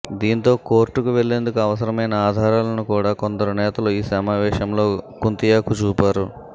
దీంతో కోర్టుకు వెళ్లేందుకు అవసరమైన ఆధారాలను కూడ కొందరు నేతలు ఈ సమావేశంలో కుంతియాకు చూపారు